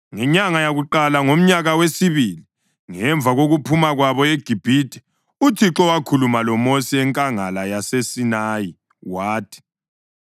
Ngenyanga yakuqala ngomnyaka wesibili ngemva kokuphuma kwabo eGibhithe uThixo wakhuluma loMosi enkangala yaseSinayi, wathi,